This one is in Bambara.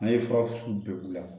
An ye fura bɛn u la